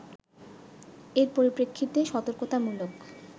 এর পরিপ্রেক্ষিতে সতর্কতামূলক